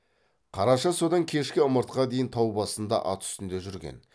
қараша содан кешкі ымыртқа дейін тау басында ат үстінде жүрген